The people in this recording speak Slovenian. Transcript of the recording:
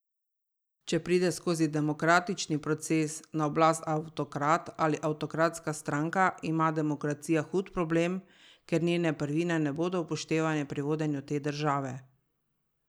Če pride skozi demokratični proces na oblast avtokrat ali avtokratska stranka, ima demokracija hud problem, ker njene prvine ne bodo upoštevane pri vodenju te države.